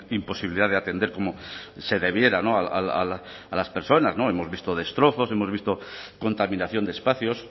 imposibilidad de atender como se debiera a las personas hemos visto destrozos hemos visto contaminación de espacios